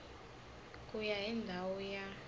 ku ya hi ndhawu ya